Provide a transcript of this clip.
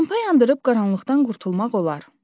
Lampa yandırıb qaranlıqdan qurtulmaq olar.